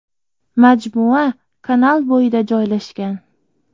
Majmua kanal bo‘yida joylashgan.